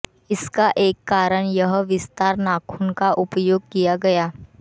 इसका एक कारण यह विस्तार नाखून का उपयोग किया गया